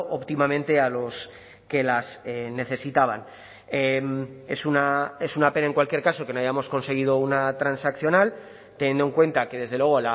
óptimamente a los que las necesitaban es una pena en cualquier caso que no hayamos conseguido una transaccional teniendo en cuenta que desde luego